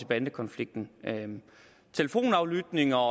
bandekonflikten telefonaflytning og